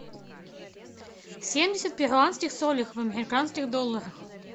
семьдесят перуанских солей в американских долларах